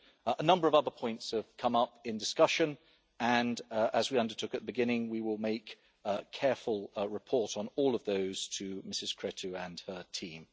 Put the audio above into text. A number of other points have come up in discussion and, as we undertook at the beginning, we will make a careful report on all of those to Ms Creţu and her team.